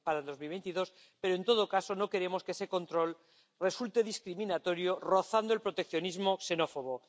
2022. Pero, en todo caso, no queremos que ese control resulte discriminatorio y roce el proteccionismo xenófobo.